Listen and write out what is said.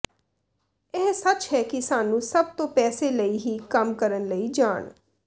ਇਹ ਸੱਚ ਹੈ ਕਿ ਸਾਨੂੰ ਸਭ ਨੂੰ ਪੈਸੇ ਲਈ ਹੀ ਕੰਮ ਕਰਨ ਲਈ ਜਾਣ